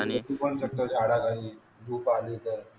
coupon करतं झाडाखाली झोप आली तर